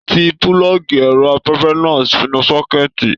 Tí pulọgi ẹrọ afẹfẹ náà sínú sọ̀kẹ̀ti.